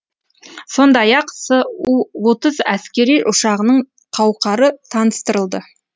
сондай ақ су отыз әскери ұшағының қауқары таныстырылды